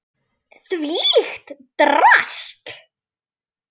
Þvílíkt drasl!